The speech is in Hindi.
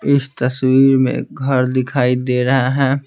इस तस्वीर में घर दिखाई दे रहा है।